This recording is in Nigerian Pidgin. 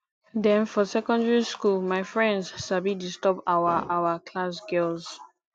den for secondary school my friends sabi disturb our our class girls